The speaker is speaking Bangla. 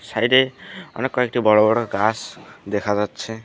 সাইডে অনেককয়টি বড়ো বড়ো গাছ দেখা যাচ্ছে।